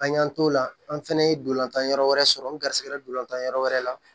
An y'an t'o la an fɛnɛ ye dolantan yɔrɔ wɛrɛ sɔrɔ n garisigɛ dolantan yɔrɔ wɛrɛ la